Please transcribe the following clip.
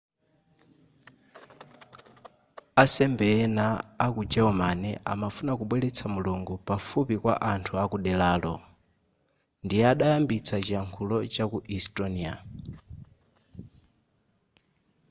asembe ena ku germany amafuna kubweretsa mulungu pafupi kwa anthu akuderaro ndiye adayambitsa chiyakhulo chaku estonia